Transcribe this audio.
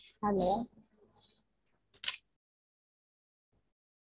Hello